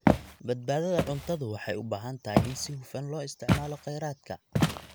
Badbaadada cuntadu waxay u baahan tahay in si hufan loo isticmaalo kheyraadka.